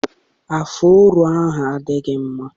Afuro ahụ adịghị mma.